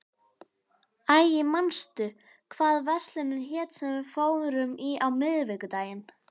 Ægir, manstu hvað verslunin hét sem við fórum í á miðvikudaginn?